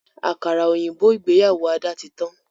Àkàrà òyìnbó ìgbéyàwó Ada tí tán